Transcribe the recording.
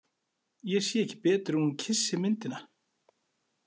Ég sé ekki betur en hún kyssi myndina.